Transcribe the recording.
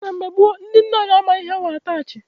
Na mgbe gboo, ndị nne anyị amaghị ihe bụ Ataach.